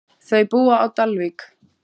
Þau búa á Dalvík.